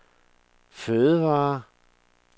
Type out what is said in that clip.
fødevarer